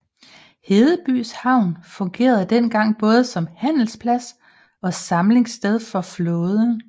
Hedebys havn fungerede dengang både som handelsplads og samlingssted for flåden